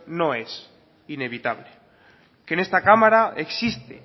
no es inevitable que en esta cámara existe